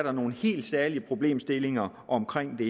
er nogle helt særlige problemstillinger omkring det